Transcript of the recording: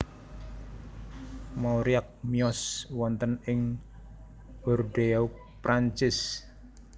Mauriac miyos wonten ing Bordeaux Prancis